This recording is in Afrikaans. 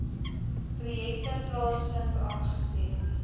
projekte plaasvind aangesien